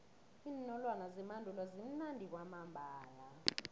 iinolwana zemandulo zimnandi kwamambala